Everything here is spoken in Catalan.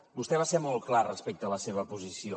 vostè va ser molt clar respecte la seva posició